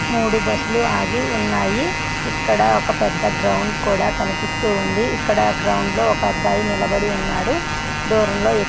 మూడు బస్సు ల ఆగి ఉన్నాయి. ఇక్కడ ఒక పెద్ద గ్రౌండ్ కూడా కనిపిస్తుంది. ఇక్కడి గ్రౌండ్లో ఒక అబ్బాయి నిలబడి ఉన్నాడు. దూరంలో --